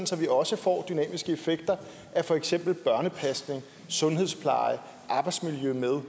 så vi også får dynamiske effekter af for eksempel børnepasning sundhedspleje og arbejdsmiljø med